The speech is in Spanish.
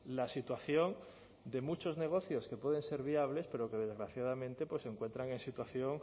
la situación de muchos negocios que pueden ser viables pero que desgraciadamente se encuentran en situación